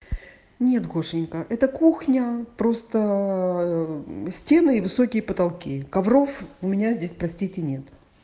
нет гошенька это кухня просто стены и высокие потолки ковров у меня здесь простите нет